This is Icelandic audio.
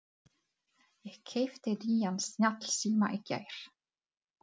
Ég keypti nýjan snjallsíma í gær.